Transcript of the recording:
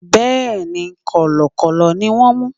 Bẹ́ẹ̀ni, Kọ̀lọ̀kọ̀lọ̀ ni wón mú.